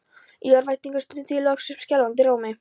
Í örvæntingu stundi ég loks upp skjálfandi rómi